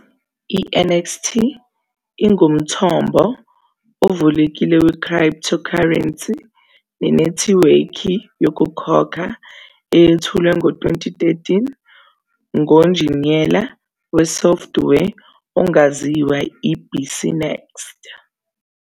I-NXT ingumthombo ovulekile we- cryptocurrency nenethiwekhi yokukhokha eyethulwe ngo-2013 ngonjiniyela "wesoftware" ongaziwa i-BCNext.